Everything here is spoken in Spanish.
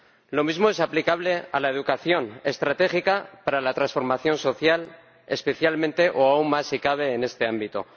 Lo mismo es aplicable a la educación, estratégica para la transformación social, especialmente o aún más si cabe en este ámbito.